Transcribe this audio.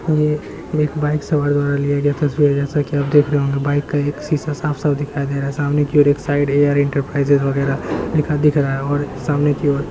ये एक बाइक सवार द्वारा लिया गया तस्वीर है जैसा कि आप देख रहे होंगे बाइक का एक शीशा साफ-साफ दिखाई दे रहा है सामने की ओर एक साइड ए.आर. एंटरप्राइजेज वगैरा लिखा दिख रहा है और सामने की ओर --